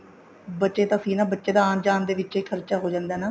ਬਚੇ ਤਾਂ ਸਹੀ ਨਾ ਬੱਚੇ ਦਾ ਆਣ ਜਾਣ ਚ ਖਰਚਾ ਹੋ ਜਾਂਦਾ ਨਾ